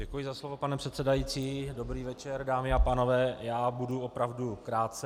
Děkuji za slovo, pane předsedající, dobrý večer, dámy a pánové, já budu opravdu krátce.